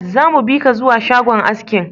Zamu bika zuwa shagon askin